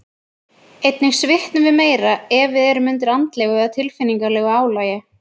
Einnig svitnum við meira ef við erum undir andlegu eða tilfinningalegu álagi.